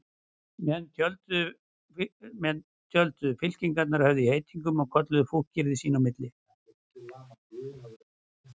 Menn tjölduðu, fylkingarnar höfðu í heitingum og kölluðu fúkyrði sín á milli.